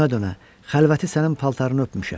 Dönə-dönə xəlvəti sənin paltarını öpmüşəm.